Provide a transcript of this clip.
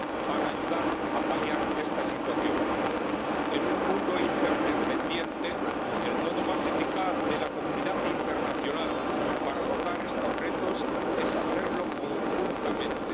para ayudar a paliar esta situación. En un mundo interdependiente, el modo más eficaz de la comunidad internacional para abordar estos retos es hacerlo conjuntamente.